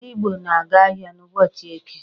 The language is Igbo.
Ndị Igbo na-aga ahịa n'ụbọchị Eke.